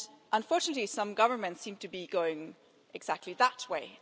Unfortunately, some governments seem to be going exactly in that way.